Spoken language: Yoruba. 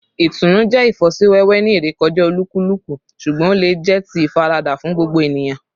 Itunu jẹ ifosiwewe ni irekọja olukuluku, ṣugbọn o le jẹ ti ifarada fun gbogbo eniyan